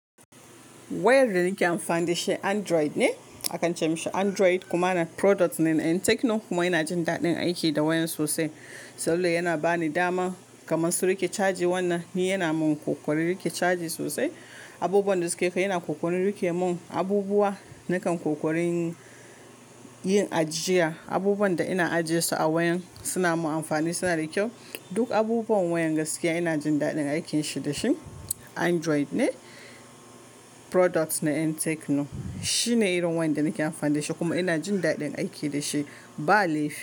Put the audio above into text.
Wayar da nake amfani da shi Android ne, akan ce mishi Android kuma na product na en tecno kuma ina jin daɗin aiki da wayan sosai. Saboda yana bani dama kamar su rike caji wannan ni yana min kokari rike caji sosai. Abubuwan da suke kai yana kokarin rike mun abubuwa nakan kokarin yin ajiya. Abubuwan da ina ajiyesu a wayan suna mun amfani suna da kyau. Duk abubuwan wayan gaskiya ina jin daɗin aikin shi da shi. Android ne product na en tecno. Shine irin wayar da nake amfani da shi kuma ina jin daɗin aiki da shi ba laifi.